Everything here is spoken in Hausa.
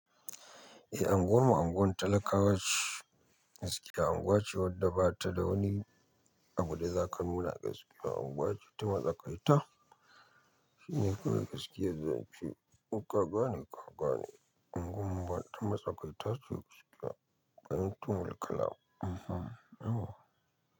Eh, anguwan mu anguwar talakawa ce, gaskiya anguwa ce wadda ba ta da wani abu da za ka nuna gaskiya. Unguwa ce ta matsakaita, shine kuma gaskiyar zance in ka gane, ka gane. Unguwar mu ba ta matsakaita ce gaskiya, ban tuni mulki la. Ee.